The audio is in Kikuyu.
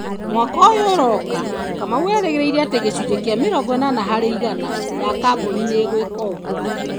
Mwaka ũyũ ũroka, Kamau erĩgĩrĩire atĩ gĩcunjĩ kĩa mĩrongo ĩnana harĩ igana ya kambũni nĩ igwĩka ũguo.